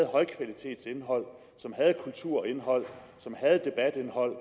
højkvalitetsindhold som havde kulturindhold som havde debatindhold